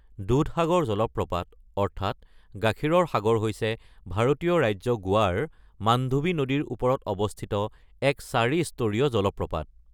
দুধসাগৰ জলপ্ৰপাত অৰ্থাৎ ‘গাখীৰৰ সাগৰ’ হৈছে ভাৰতীয় ৰাজ্য গোৱাৰ মাণ্ডোভি নদীৰ ওপৰত অৱস্থিত এক চাৰিস্তৰীয় জলপ্ৰপাত।